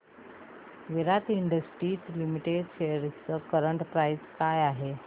विराट industries limited shares ची current price काय आहे